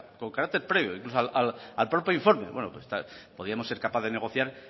sea al carácter previo al informe podríamos ser capaces de negociar